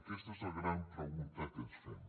aquesta és la gran pregunta que ens fem